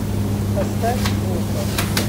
поставь грота